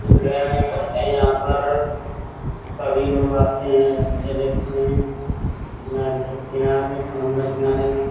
करते हैं। यहाँ पर सभी लोग आते हैं मज़े लेते हैं। किनारे समुन्दर किनारे में --